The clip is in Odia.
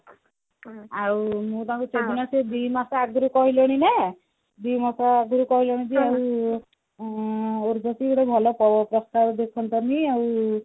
ମୁଁ ତାଙ୍କୁ ସେଦିନ ସେ ଦିମାସ ଆଗରୁ କହିଲେଣି ନା ଦିମାସ ଆଗରୁ କହିଲେଣି ଯେହେତୁ ଆଁ ଉର୍ବଶୀ ଗୋଟେ ଭଲ ପ ପ୍ରସ୍ତାବ ଦେଖାନ୍ତନୀ ଆଉ